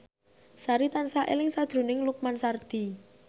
Sari tansah eling sakjroning Lukman Sardi